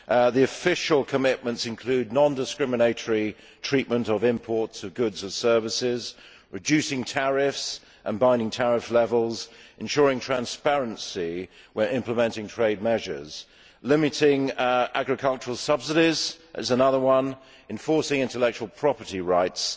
The official commitments include non discriminatory treatment of imports of goods and services, reducing tariffs and binding tariff levels, ensuring transparency when implementing trade measures, limiting agricultural subsidies, enforcing intellectual property rights